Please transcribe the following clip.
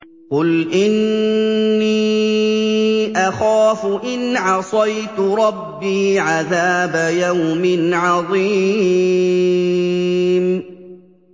قُلْ إِنِّي أَخَافُ إِنْ عَصَيْتُ رَبِّي عَذَابَ يَوْمٍ عَظِيمٍ